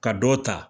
Ka dɔ ta